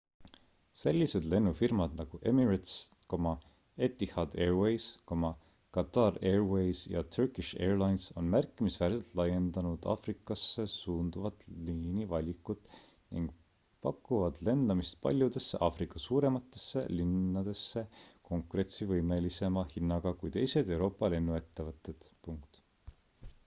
sellised lennufirmad nagu emirates etihad airways qatar airways ja turkish airlines on märkimisväärselt laiendanud aafrikasse suunduvat liinivalikut ning pakuvad lendamist paljudesse aafrika suurematesse linnadesse konkurentsivõimelisema hinnaga kui teised euroopa lennuettevõtted